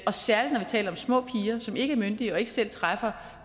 og særlig når vi taler om små piger som ikke er myndige og ikke selv træffer